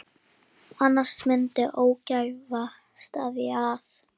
Annars myndi ógæfa steðja að.